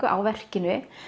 á verkinu